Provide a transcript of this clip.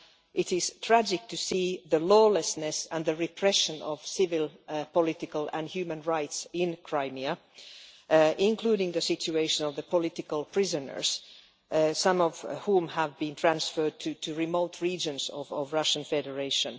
It is tragic to see the lawlessness and the repression of civil, political and human rights in Crimea, including the situation of the political prisoners, some of whom have been transferred to remote regions of the Russian Federation.